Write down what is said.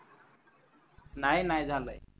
नाही नाही झालय